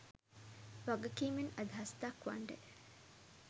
වගකීමෙන් අදහස් දක්වන්ඩ